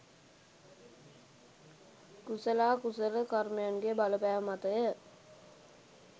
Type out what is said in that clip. කුසලා කුසල කර්මයන්ගේ බලපෑම මතය.